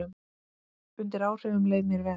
Undir áhrifum leið mér vel.